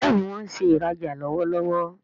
Béèni wón ṣe ìrajà lọwọlọwọ.